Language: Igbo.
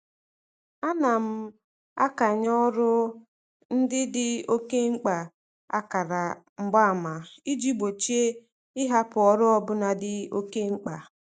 Ana m akanye ọrụ ndị dị oke mkpa akara mgbaama iji gbochie ịhapụ ọrụ ọbụla dị oke mkpa.